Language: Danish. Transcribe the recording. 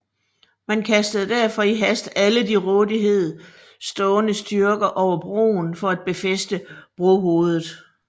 Man kastede derfor i hast alle til rådighed stående styrker over broen for at befæste brohovedet